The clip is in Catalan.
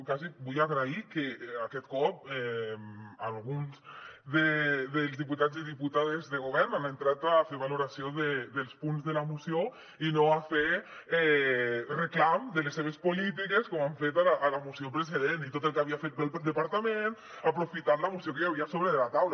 quasi vull agrair que aquest cop alguns dels diputats i diputades de govern han entrat a fer valoració dels punts de la moció i no a fer reclam de les seves polítiques com han fet a la moció precedent i tot el que havia fet bé el departament aprofitant la moció que hi havia sobre la taula